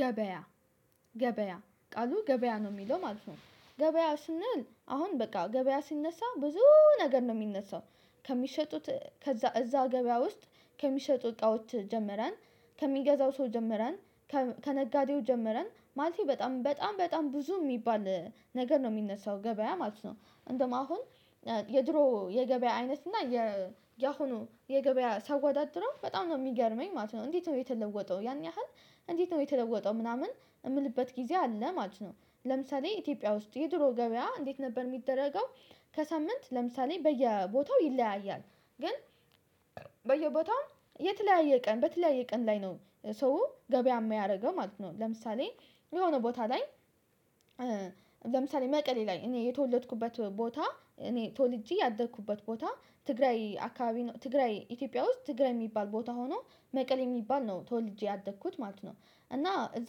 ገበያ ገበያ ቃሉ ገበያ ነው የሚለው ማለት ነው። ገበያ ስንል አሁን በቃ ገበያ ሲነሳ ብዙ ነገር ነው የሚነሳው። ከሚሸጡት ከዛ እዛ ገበያ ውስጥ ከሚሸጡ እቃዎች ጀምረን፣ ከሚገዛው ሰው ጀምረን። ከነጋዴው ጀምረን ማለቴ በጣም በጣም በጣም ብዙ የሚባል ነገር ነው የሚነሳው ገበያ ማለት ነው። እንደውም አሁን የድሮ የገበያ አይነት እና የአሁኑ የገበያ ሰወዳድርው በጣም ነው የሚገርመኝ ማለት ነው። እንዴት ነው የተለወጠው? ያን ያህል እንዴት ነው የተለወጠው ምናምን የምልበት ጊዜ አለ ማለት ነው። ለምሳሌ ኢትዮጵያ ውስጥ የድሮ ገበያ እንዴት ነበር የሚደረገው? ከሳምንት ለምሳሌ በየቦታው ይለያያል። ግን በየቦታው የተለያየ ቀን በተለያየ ቀን ላይ ነው። ሰው ገበያ የሚያደርገው ማለት ነው። ለምሳሌ የሆነ ቦታ ላይ። ለምሳሌ መቀሌ ላይ እኔ የተወለድኩበት ቦታ እኔ ተወልጄ ያደርኩበት ቦታ ትግራይ አካባቢ ትግራይ ኢትዮጵያ ውስጥ ትግራይ የሚባል ቦታ ሆኖ መቀሌ የሚባል ነው ተወልጄ ያደግኩት ማለት ነው። እና እዛ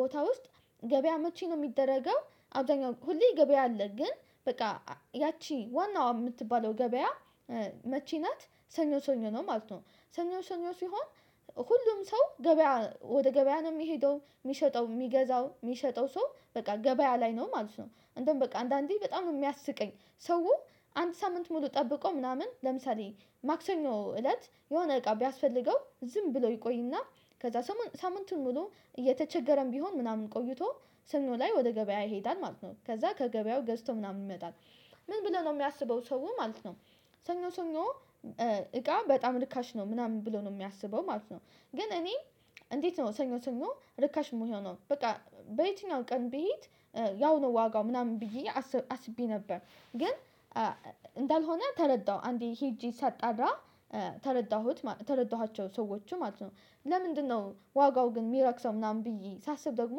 ቦታ ውስጥ ገበያ መቼ ነው የሚደረገው? አብዛኛው ሁሌ ገበያ አለ ግን በቃ ያቺ ዋናው የምትባለው ገበያ። መቼ ናት? ሰኞ ሰኞ ነው ማለት ነው። ሰኞ ሰኞ ሲሆን ሁሉም ሰው ገበያ ወደ ገበያ ነው የሚሄደው የሚሸጠው የሚገዛው የሚሸጠው ሰው በቃ ገበያ ላይ ነው ማለት ነው። አንደዉም በቃ አንዳንዴ በጣም ነው የሚያስቀኝ። ሰው አንድ ሳምንት ሙሉ ጠብቆ ምናምን ለምሳሌ ማክሰኞ እለት የሆነ እቃ ቢያስፈልገው ዝም ብሎ ይቆይና። ከዛ ሳምንቱን ሙሉ እየተቸገረም ቢሆን ምናምን ቆይቶ ስኖ ላይ ወደ ገበያ ይሄዳል ማለት ነው ከዛ ከገበያው ገዝቶ ምናምን ይመጣል። ምን ብለው ነው የሚያስበው ሰው ማለት ነው። ሰኞ ሰኞ እቃ በጣም ርካሽ ነው ምናምን ብሎ ነው የሚያስበው ማለት ነው። ግን እኔ እንዴት ነው ሰኞ ሰኞ ርካሽ መሆነው? በቃ የበትኛው ቀን ብሄድ ያው ነው ዋጋው ምናምን ብዬ አስቤ ነበር። ግን እንዳልሆነ ተረዳሁ አንዴ ሄጄ ሳጣራ ተረዳሁት ተረዳኋቸው ሰዎች ማለት ነው። ለምንድነው? ዋጋው ግን የሚረክሰው ምናምን ብዬ ሳስብ ደግሞ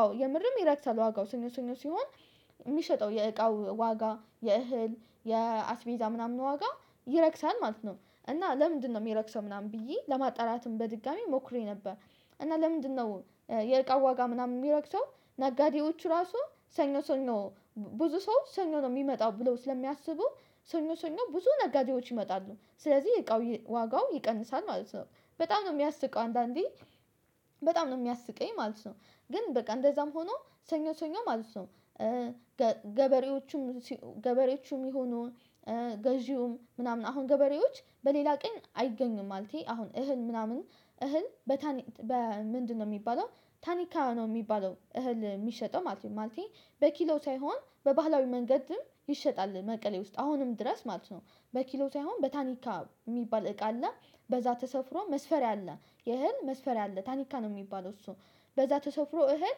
አዎ የምርም ይረክሳል ዋጋው ሰኞ ሰኞ ሲሆን የሚሸጠው የእቃው ዋጋ የእህል የአስቤዛ ምናምን ዋጋ ይረክሳል ማለት ነው። እና ለምንድነው የሚረክሰው ምናምን ብዬ ለማጣራትም በድጋሚ ሞክሬ ነበር። እና ለምንድነው የእርቃው ዋጋ ምናምን የሚረክተው? ነጋዴዎቹ ራሱ ሰኞ ሰኞ ብዙ ሰው ሰኞ ነው የሚመጣው ብለው ስለሚያስቡ ሰኞ ሰኞ ብዙ ነጋዴዎች ይመጣሉ ስለዚህ የእቃው ዋጋው ይቀንሳል ማለት ነው። በጣም ነው የሚያስቅው አንዳንዴ በጣም ነው የሚያስቀኝ ማለት ነው። ግን በቃ እንደዛም ሆኖ ሰኞ ሰኞ ማለት ነው። ገበሬዎቹም ገበሬዎቹም ይሁኑ ገዢውም ምናምን አሁን ገበሬዎች በሌላ ቀን አይገኙም ማለቴ አሁን እህል ምናምን እህል በታኒ በምንድነው የሚባለው? ታኒካ ነው የሚባለው እህል የሚሸጠው ማለት ነው ማለቴ በኪሎ ሳይሆን በባህላዊ መንገድም ይሸጣል መቀሌ ውስጥ አሁንም ድረስ ማለት ነው። በኪሎ ሳይሆን በታኒካ የሚባል እቃ አለ። በዛ ተሰፍሮ መስፈር ያለ የእህል መስፈርያ ታኒካ ነው የሚባለው እሱ። በዛ ተሰፍሮ እህል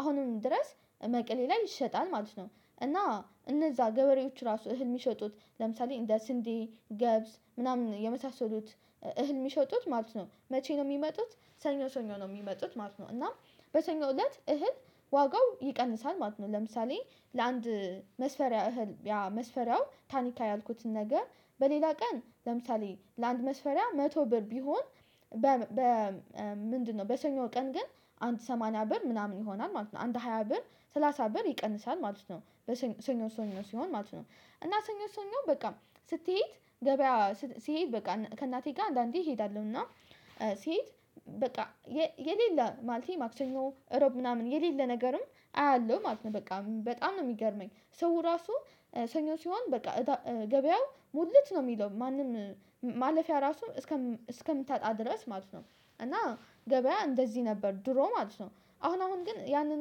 አሁንም ድረስ እመቅሌ ላይ ይሸጣል ማለት ነው። እና እነዛ ገበሬዎች ራሱ እህል የሚሸጡት ለምሳሌ እንደ፣ ስንዴ፣ ገብዝ ምናምን የመሳሰሉት። እህል የሚሸጡት ማለት ነው መቼ ነው የሚመጡት? ሰኞ ሰኞ ነው የሚመጡት ማለት ነው። እና በሰኞ እለት እህል ዋጋው ይቀንሳል ማለት ነው። ለምሳሌ ለአንድ መስፈሪያ ያ መስፈሪያው ታኒታ ያልኩትን ነገር በሌላ ቀን ለምሳሌ ለአንድ መስፈሪያ መቶ ብር ቢሆን። በምንድነው በሰኞ ቀን ግን አንድ ሰማንያ ብር ምናምን ይሆናል ማለት ነው። አንድ ሃያ ብር፣ ሰላሳ ብር ይቀንሳል ማለት ነው። ሰኞ ሰኞ ሲሆን ማለት ነው። እና ሰኞ ሰኞ በቃ ስትሄድ ገበያ ሲሄድ በቃ ከእናቴ ጋር አንዳንዴ እሄዳለሁ እና። ሲሄድ በቃ የሌለ ማለቴ ማክሰኞ እሮብ ምናምን የሌለ ነገርም አያለሁ ማለት ነው። በቃ በጣም ነው የሚገርመኝ ሰው ራሱ ሰኞ ሲሆን በቃ ገበያው ሙልት ነው የሚለው ማንም ማለፍያ ራሱ እስከምታጣ ድረስ ማለት ነው። እና ገበያ እንደዚህ ነበር ድሮ ማለት ነው። አሁን አሁን ግን ያንን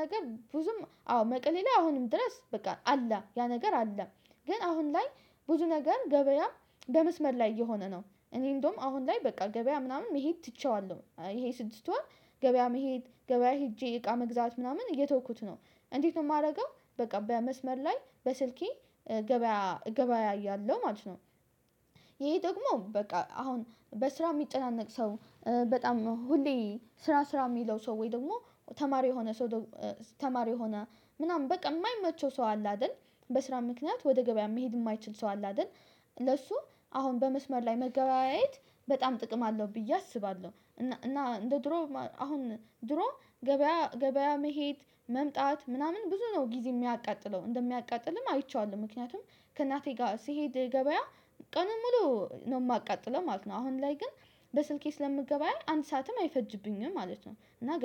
ነገር ብዙም አዎ መቀሌ ላይ አሁንም ድረስ በቃ አለ ያ ነገር አለ። ግን አሁን ላይ ብዙ ነገር ገበያም በመስመር ላይ እየሆነ ነው እኔ እንደውም አሁን ላይ በቃ ገበያ ምናምን መሄድ ትቼዋለሁ ይሄ ስድስት ወር ገበያ መሄድ ገበያ ሄጄ እቃ መግዛት ምናምን እየተውኩት ነው። እንዴት ነው የማደርገው? በቃ በመስመር ላይ በስልኬ እገበያያለው ማለት ነው። ይሄ ደግሞ በቃ አሁን በስራ የሚጨናነቅ ሰው። በጣም ነው ሁሌ ስራ ስራ የሚለው ሰው ወይ ደግሞ ተማሪ የሆነ ሰው። ተማሪ የሆነ ምናምን በቃ የማይመቸው ሰው አለ አይደል? በስራ ምክንያት ወደ ገበያ መሄድ የማይችል ሰው አለ አይደል? ለሱ አሁን በመስመር ላይ መገበያየት በጣም ጥቅም አለው ብዬ አስባለሁ። እና እንደ ድሮ አሁን ድሮ። ገበያ መሄድ መምጣት ምናምን ብዙ ነው ጊዜ የሚያቃጥለው እንደሚያቃጥልም አይቼዋለሁ ምክንያቱም ከእናቴ ጋር ሲሄድ ገበያ ቀኑን ሙሉ ነው የማቃጥለው ማለት ነው። አሁን ላይ ግን በስልኬ ስለምገበያይ አንድ ሰዓትም አይፈጅብኝም ማለት ነው። እና ገባህ